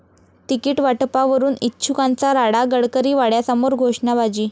ticket वाटपावरून इच्छुकांचा राडा, गडकरी वाड्यासमोर घोषणाबाजी